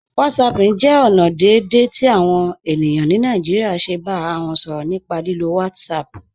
Whatsapping jẹ ọna deẹ̀dẹ̀ ti awọn ènìyàn ni Naijíríà ṣè bá ara wọn sọrọ̀ nípà lílò WhatsApp WhatsApp.